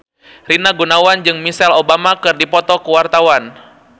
Rina Gunawan jeung Michelle Obama keur dipoto ku wartawan